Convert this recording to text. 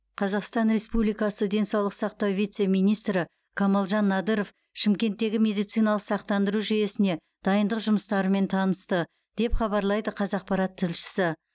қазақстан республикасы денсаулық сақтау вице министрі камалжан надыров шымкенттегі медициналық сақтандыру жүйесіне дайындық жұмыстарымен танысты деп хабарлайды қазақпарат тілшісі